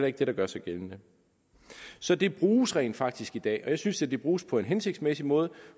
ikke det der gør sig gældende så det bruges rent faktisk i dag og jeg synes da det bruges på en hensigtsmæssig måde